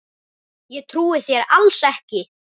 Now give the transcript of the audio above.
Ég trúi þér alls ekki!